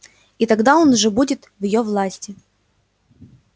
и тогда он уже будет в её власти